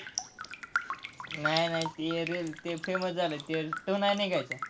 नाही नाही ते ते famous झालं त्यो नाही निघायचा.